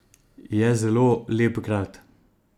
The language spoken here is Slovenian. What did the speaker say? Je zelo lep grad.